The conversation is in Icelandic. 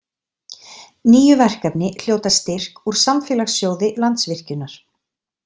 Níu verkefni hljóta styrk úr Samfélagssjóði Landsvirkjunar.